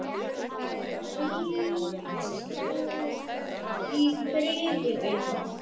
Hvíl þú í friði, vinur.